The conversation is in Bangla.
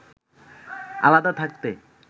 আলাদা থাকতে